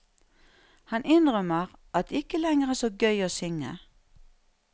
Han innrømmer at det ikke lenger er så gøy å synge.